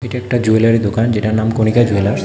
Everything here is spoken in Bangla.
এটা একটা জুয়েলারির দোকান যেটার নাম কণিকা জুয়েলার্স ।